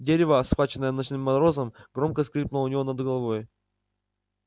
дерево схваченное ночным морозом громко скрипнуло у него над головой